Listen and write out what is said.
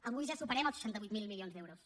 avui ja superem els seixanta vuit mil milions d’euros